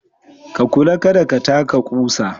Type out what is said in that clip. Ka kula kada ka taka kusa.